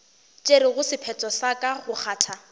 tšerego sephetho sa go kgatha